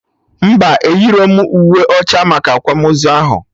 Mba, eyirọm uwe ọcha maka akwamozu ahụ